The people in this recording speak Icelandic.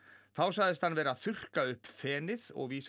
þá sagðist hann vera að þurrka upp fenið og vísar